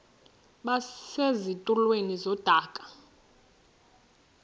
base zitulmeni zedaka